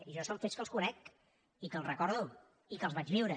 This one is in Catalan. jo són fets que els conec i que els recordo i que els vaig viure